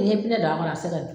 E ye pinɛ don a kɔrɔ a ti se ka